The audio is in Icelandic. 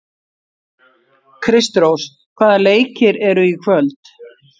Kristrós, hvaða leikir eru í kvöld?